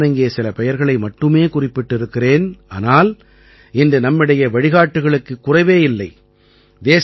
நான் இங்கே சில பெயர்களை மட்டுமே குறிப்பிட்டிருக்கிறேன் ஆனால் இன்று நம்மிடையே வழிகாட்டிகளுக்குக் குறைவே கிடையாது